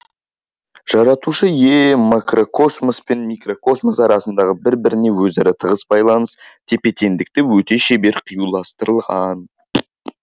жаратушы ие макрокосмос пен микрокосмос арасындағы бір біріне өзара тығыз байланыс тепе теңдікті өте шебер қиюластырған